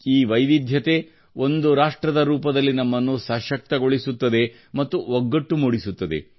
ಈ ವೈವಿಧ್ಯ ಒಂದು ರಾಷ್ಟ್ರದ ರೂಪದಲ್ಲಿ ನಮ್ಮನ್ನು ಸಶಕ್ತಗೊಳಿಸುತ್ತದೆ ಮತ್ತು ಒಗ್ಗಟ್ಟು ಮೂಡಿಸುತ್ತದೆ